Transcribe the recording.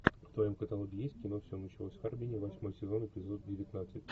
в твоем каталоге есть кино все началось в харбине восьмой сезон эпизод девятнадцать